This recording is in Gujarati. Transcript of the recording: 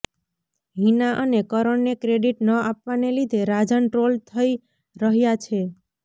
હિના અને કરણને ક્રેડીટ ન આપવાને લીધે રાજન ટ્રોલ થઇ રહ્યા છે